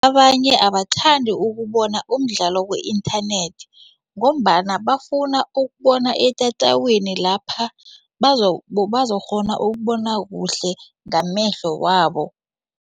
Abanye abathandi ukubona umdlalo ku-inthanethi ngombana bafuna ukubona etatawini lapha bazokukghona ukubona kuhle ngamehlo wabo.